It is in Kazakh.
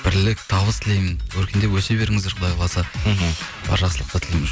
бірлік табыс тілеймін өркендеп өсе беріңіздер құдай қаласа мхм жақсылықтар тілеймін